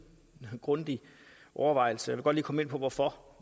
grundig overvejelse og lige komme ind på hvorfor